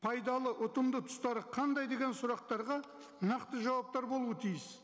пайдалы ұтымды тұстары қандай деген сұрақтарға нақты жауаптар болуы тиіс